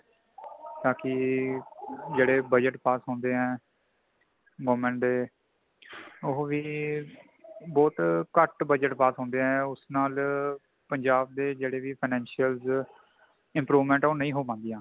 ਤਾਕੀ , ਜੇੜੇ budget pass ਹੋੰਦੇ ਹੈ ,government ਦੇ ਉਹ ਵੀ , ਬਹੁਤ ਕੱਟ budget pass ਹੋਂਦੇ ਹੈ, ਉਸ ਨਾਲ ਪੰਜਾਬ ਦੇ ਜੇਹੜੇ ਵੀ financial improvement ਉਹ ਨਹੀਂ ਹੋ ਪਾਂਦੀ ਹੈ